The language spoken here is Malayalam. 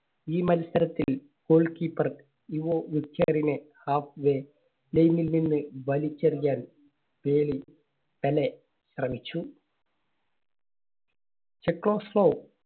ഈ മത്സരത്തിൽ goal keeper യുവോ വെച്ചറിന് നിന്ന് വലിച്ചെറിയാൻ പെലെ ശ്രമിച്ചു. ചെക്ലോസ്ലോവ്